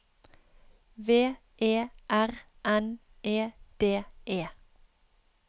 V E R N E D E